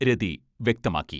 രതി വ്യക്തമാക്കി.